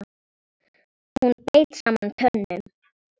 Hún beit saman tönnum.